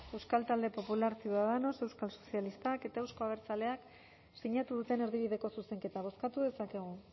euskal talde popularra ciudadanos euskal sozialistak eta euzko abertzaleak sinatu duten erdibideko zuzenketa bozkatu dezakegu